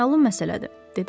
məlum məsələdir, dedi.